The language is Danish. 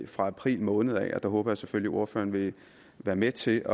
fra april måned og der håber jeg selvfølgelig ordføreren vil være med til at